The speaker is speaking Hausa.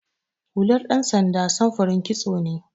Hular ɗan sanda samfurin kitso ne.